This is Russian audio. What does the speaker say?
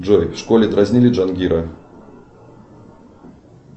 джой в школе дразнили джангира